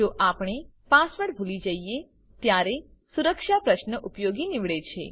જો આપણે પાસવર્ડ ભૂલી જઈએ ત્યારે સુરક્ષા પ્રશ્ન ઉપયોગી નીવડે છે